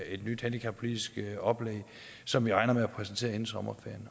et nyt handicappolitisk oplæg som jeg regner med at præsentere inden sommerferien